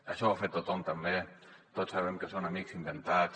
això ho ha fet tothom també tots sabem que són amics inventats